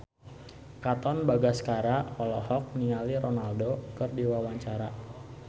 Katon Bagaskara olohok ningali Ronaldo keur diwawancara